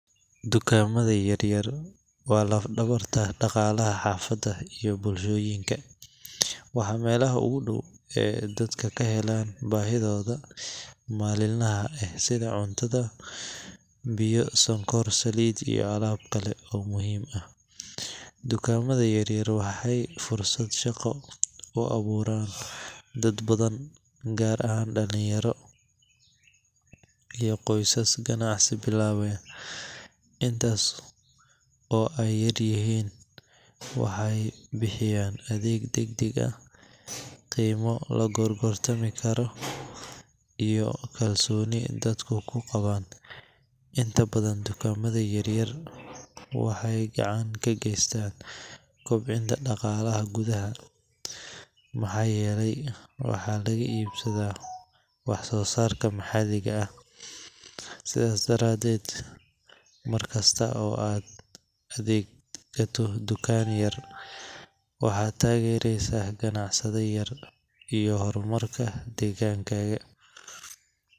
Dukaamada yaryar waa laf-dhabarta dhaqaalaha xaafadaha iyo bulshooyinka. Waa meelaha ugu dhow ee dadku ka helaan baahiyahooda maalinlaha ah sida cunto, biyo, sonkor, saliid iyo alaab kale oo muhiim ah. Dukaamada yaryar waxay fursad shaqo u abuuraan dad badan, gaar ahaan dhalinyarada iyo qoysaska ganacsiga bilaabaya. Inkasta oo ay yaryihiin, waxay bixiyaan adeeg degdeg ah, qiime la gorgortami karo, iyo kalsooni dadku ku qabaan. Inta badan dukaamada yaryar waxay gacan ka geystaan kobcinta dhaqaalaha gudaha, maxaa yeelay waxa laga iibsadaa wax soo saarka maxalliga ah. Sidaas daradeed, markasta oo aad ka adeegato tukaan yar, waxaad taageeraysaa ganacsade yar iyo horumarka deegaankaaga.